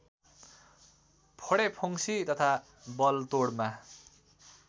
फोडेफुंसी तथा बलतोडमा